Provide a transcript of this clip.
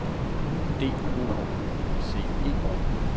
D O U C E